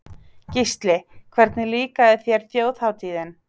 Gísli: Hvernig líkaði þér Þjóðhátíðin?